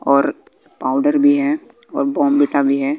और पाउडर भी है और बाउंविटा भी है।